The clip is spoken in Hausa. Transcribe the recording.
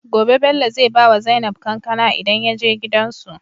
Gobe Bello zai bawa zainab kankAna idan yaje gidan su